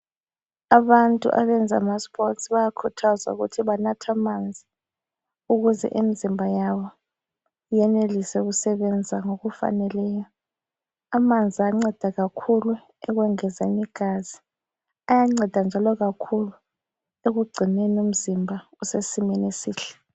Abantu abenza amaSports bayakhuthazwa ukuthi banathe amanzi, ukuze imizimba yabo yenelise ukusebenza ngokufaneleyo. Amanzi ayanceda kakhulu ukwengeza igazi. Ayanceda njalo kakhulu ekugcineni umzimba usesimeni esihle.